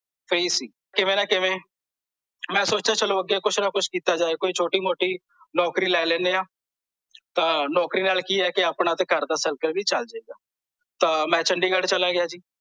ਕਿਵੇ ਨਾਂ ਕਿਵੇ ਮੈਂ ਸੋਚਿਆ ਚਲੋ ਅੱਗੇ ਕੁਛ ਨਾਂ ਕੁਛ ਕੀਤਾ ਜਾਏ ਕੋਈ ਛੋਟੀ ਮੋਟੀ ਨੌਕਰੀ ਲੈ ਲੈਣੇ ਆਂ ਤਾਂ ਨੌਕਰੀ ਨਾਲ ਕੀ ਆ ਕੇ ਆਪਣੇ ਘਰ ਦਾ circle ਵੀ ਚੱਲ ਜੇ ਗਾ ਤਾਂ ਮੈਂ ਚੰਡੀਗੜ੍ਹ ਚਲਿਆ ਗਿਆ ਜੀ